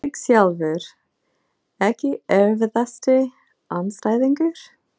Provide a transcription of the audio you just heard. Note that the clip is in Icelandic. Ég sjálfur Ekki erfiðasti andstæðingur?